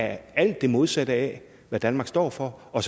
alt det modsatte af hvad danmark står for og